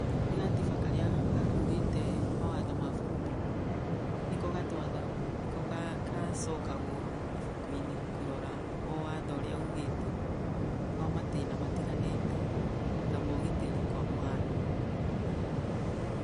Nĩ gatiba karĩa gakuĩte mawatho ma bũrũri, nĩko gatwathaga, nĩko gacokagwo ibuku-inĩ kũrora o watho ũrĩa ugĩte kwa matĩna matiganĩte ta mogitĩri kwa mũhiano.